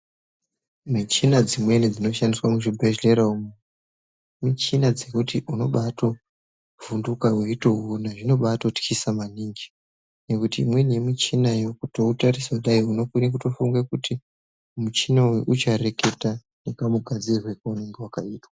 Michina dzimweni dzinoshandiswa muchibhedlera umu ,michina dzekuti unobatovhunduka uchitowuwona zvinobatotyisa maningi, nekuti imweni yemichina unototarisa kudai unokwire kutofunga kuti muchina uyu uchareketa nekamugadzirirwe waunenge wakaitwa.